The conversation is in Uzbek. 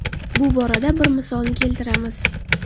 Bu borada bir misolni keltiramiz.